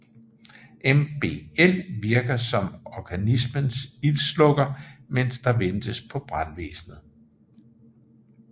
MBL virker som organismens ildslukker mens der ventes på brandvæsnet